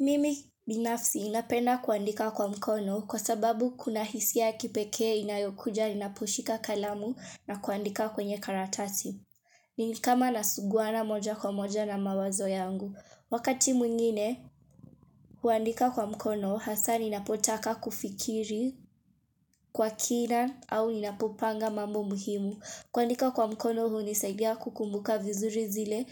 Mimi binafsi napenda kuandika kwa mkono kwa sababu kuna hisia ya kipekee inayokuja ninaposhika kalamu na kuandika kwenye karatasi. Ni kama nasuguana moja kwa moja na mawazo yangu. Wakati mwingine, kuandika kwa mkono hasa ninapotaka kufikiri kwa kina au ninapopanga mambo muhimu. Kuandika kwa mkono hunisaidia kukumbuka vizuri zile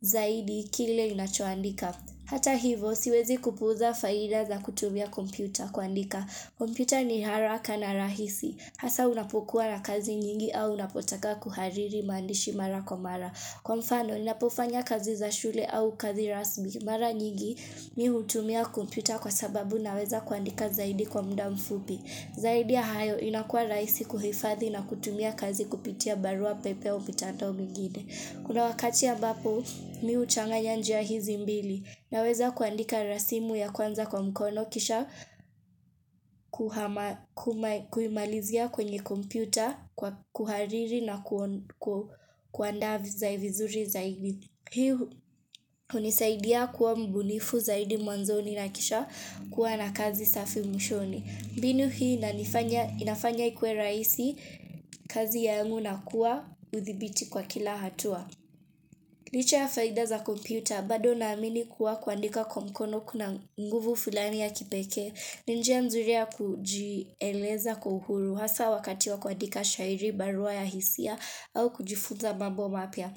zaidi kile ninachoandika. Hata hivo, siwezi kupuuza faida za kutumia kompyuta kuandika. Kompyuta ni haraka na rahisi. Hasa unapokuwa na kazi nyingi au unapotaka kuhariri maandishi mara kwa mara. Kwa mfano, ninapofanya kazi za shule au kazi rasmi. Mara nyingi, mimi hutumia kompyuta kwa sababu naweza kuandika zaidi kwa muda mfupi. Zaidi ya hayo inakua rahisi kuhifadhi na kutumia kazi kupitia barua pepe au mitandao mingine. Kuna wakati ambapo, mimi huchanganya njia hizi mbili. Naweza kuandika rasimu ya kwanza kwa mkono kisha kuiimalizia kwenye kompyuta, kwa kuhariri na kuandaa zaivizuri vizuri zaidi. Hii hunisaidia kuwa mbunifu zaidi mwanzoni na kisha kuwa na kazi safi mwishoni. Mbiinu hii inanifanya inafanya ikuwe rahisi kazi yangu na kuwa udhibiti kwa kila hatua. Licha ya faida za kompyuta, bado naamini kuwa kuandika kwa mkono kuna nguvu fulani ya kipekee, ni njia nzuri ya kujieleza kwa uhuru hasa wakati wa kuandika shairi, barua ya hisia au kujifunza mambo mapya.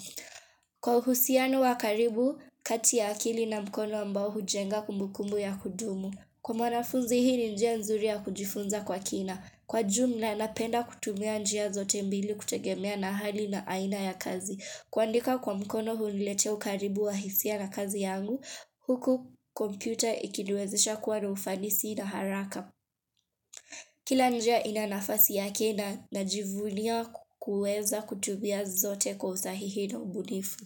Kwa uhusiano wa karibu, kati ya akili na mkono ambao hujenga kumbukumbu ya kudumu. Kwa mwanafunzi hii ni njia nzuri ya kujifunza kwa kina. Kwa jumla napenda kutumia njia zote mbili kutegemea na hali na aina ya kazi. Kuandika kwa mkono huniletea ukaribu wa hisia na kazi yangu, huku kompyuta ikiniwezesha kuwa na ufanisi na haraka. Kila njia ina nafasi ya kina na najivunia kueza kutumia zote kwa usahihi na ubunifu.